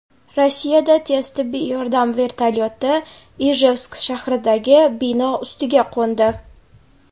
Rossiyada tez tibbiy yordam vertolyoti Ijevsk shahridagi bino ustiga qo‘ndi.